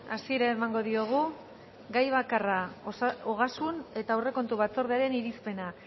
hasiera emango diogu gai bakarra ogasun eta aurrekontu batzordearen irizpena